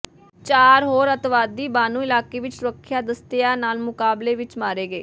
ਚਾਰ ਹੋਰ ਅਤਿਵਾਦੀ ਬਾਨੂ ਇਲਾਕੇ ਵਿੱਚ ਸੁਰੱਖਿਆ ਦਸਤਿਆਂ ਨਾਲ ਮੁਕਾਬਲੇ ਵਿੱਚ ਮਾਰੇ ਗਏ